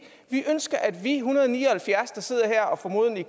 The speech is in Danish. ønsker at vi en hundrede og ni og halvfjerds der sidder her og formodentlig